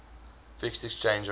fixed exchange rate